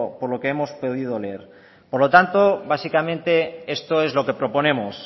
leer por lo tanto básicamente esto es lo que proponemos